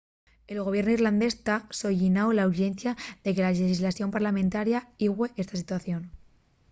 el gobiernu irlandés ta solliñando la urxencia de que la llexislación parllamentaria igüe esta situación